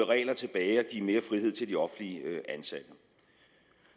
regler tilbage og give mere frihed til de offentligt ansatte